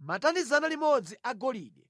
Matani 100 agolide